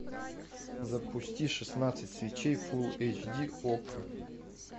запусти шестнадцать свечей фулл эйч ди окко